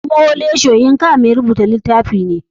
Kuma wole soyinka mai rubuta litafi ne.